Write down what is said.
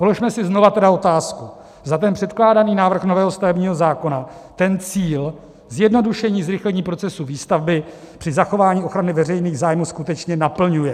Položme si znovu tedy otázku, zda ten předkládaný návrh nového stavebního zákona ten cíl, zjednodušení, zrychlení procesu výstavby při zachování ochrany veřejných zájmů skutečně naplňuje.